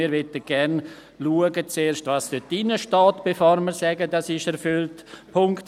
Wir möchten zuerst schauen, was dort drinsteht, bevor wir sagen, dass es erfüllt ist.